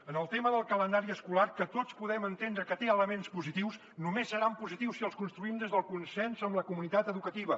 en el tema del calendari escolar que tots podem entendre que té elements positius només seran positius si els construïm des del consens amb la comunitat educativa